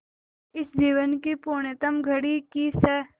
इस जीवन की पुण्यतम घड़ी की स्